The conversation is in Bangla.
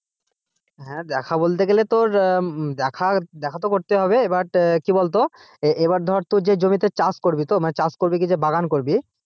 হ্যাঁ দেখা বলতে গেলে তোর আহ দেখা, দেখা তো করতেই হবে এবার কি বলতো এবার ধরে তোর যে জমিতে চাষ করবি তো মানে চাষ করবি যে বাগান করবি,